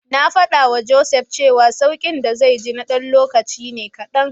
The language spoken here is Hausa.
Na faɗawa Joseph cewa sauƙin da zai ji na ɗan lokaci ne kaɗan.